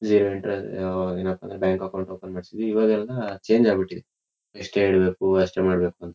Zero interest ಅಹಹ್ಹ್ ಏನಪ್ಪಾ ಅಂದ್ರೆ ಬ್ಯಾಂಕ್ ಅಕೌಂಟ್ ಓಪನ್ ಮಾಡ್ಸಿದ್ವಿ. ಇವಾಗೆಲ್ಲ ಚೇಂಜ್ ಆಗ್ಬಿಟ್ಟಿದೆ ಇಷ್ಟೇ ಇಡಬೇಕು ಅಷ್ಟೇ ಮಾಡಬೇಕು ಅಂತ .